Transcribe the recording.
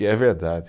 E é verdade.